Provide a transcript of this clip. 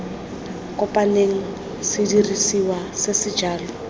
kopaneng sedirisiwa se se jalo